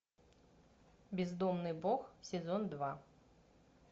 бездомный бог сезон два